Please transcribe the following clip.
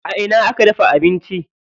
A ina aka dafa abinci?